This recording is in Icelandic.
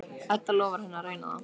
Edda lofar henni að reyna það.